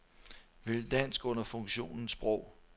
Vælg dansk under funktionen sprog.